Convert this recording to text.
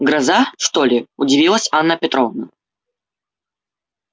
гроза что ли удивилась анна петровна